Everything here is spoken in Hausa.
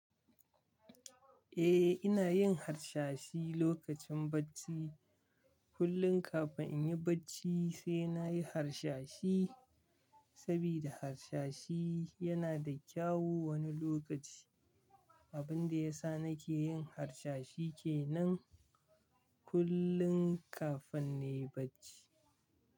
Eh ina yin harsashi lokacin bacci. Kullum kafin inyi bacci sai nayi harsashi, saboda harsashi yana da kyau wani lokaci. Abinda yasa nake yin harsashi kenan kullum kafin nayi bacci.